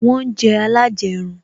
Wọn ń jẹ alajerun